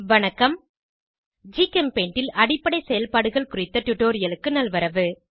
வணக்கம் ஜிகெம்பெய்ண்ட் ல் அடிப்படை செயல்பாடுகள் குறித்த டுடோரியலுக்கு நல்வரவு